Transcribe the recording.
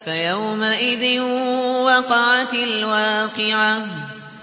فَيَوْمَئِذٍ وَقَعَتِ الْوَاقِعَةُ